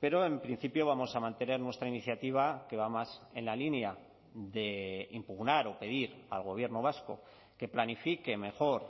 pero en principio vamos a mantener nuestra iniciativa que va más en la línea de impugnar o pedir al gobierno vasco que planifique mejor